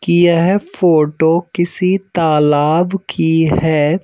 कि यह फोटो किसी तालाब की है।